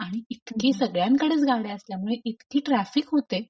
आणि इतके सगळ्यांकडेच गाड्या असल्यामुळे इतकी ट्राफिक होते.